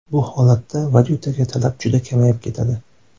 Bu holatda valyutaga talab juda kamayib ketadi.